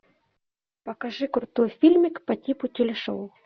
покажи крутой фильмик по типу телешоу